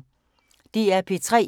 DR P3